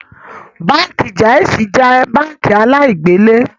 Báńkì Jaiz jẹ́ báńkì aláì-gbélè